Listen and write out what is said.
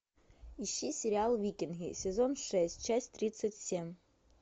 ищи сериал викинги сезон шесть часть тридцать семь